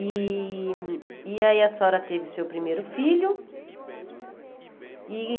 E e aí a senhora teve seu primeiro filho. E e